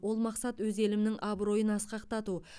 ол мақсат өз елімнің абыройын асқақтату